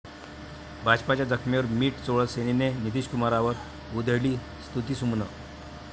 भाजपच्या जखमेवर मिठ चोळत सेनेनं नितीशकुमारांवर उधळली स्तुतीसुमनं